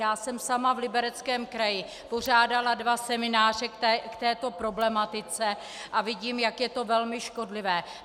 Já jsem sama v Libereckém kraji pořádala dva semináře k této problematice a vidím, jak je to velmi škodlivé.